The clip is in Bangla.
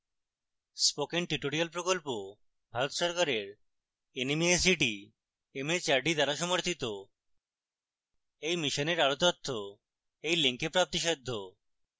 spoken tutorial প্রকল্প ভারত সরকারের nmeict mhrd দ্বারা সমর্থিত এই মিশনের আরো তথ্য এই লিঙ্কে প্রাপ্তিসাদ্ধ